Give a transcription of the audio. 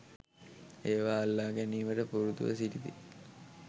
ඒවා අල්ලා ගැනීමට පුරුදුව සිටිති